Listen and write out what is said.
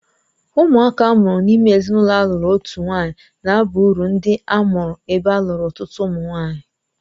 Ụmụaka a mụrụ n'ime ezinụlọ a lụrụ otu nwanyị na aba uru ndị a mụụrụ ebe alụrụ ọtụtụ ụmụ nwaanyị